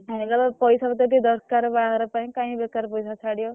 ଆଣିଲେ ବା ପଇସା ପତର ଟିକେ ଦରକାର୍ ବାହାଘର ପାଇଁ କାଇଁ ବେକାର୍ ପଇସା ଛାଡିବ।